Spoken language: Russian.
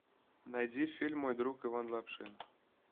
найди фильм мой друг иван лапшин